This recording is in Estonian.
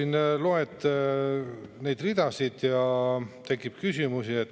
Ma loen neid ridasid ja mul tekib küsimusi.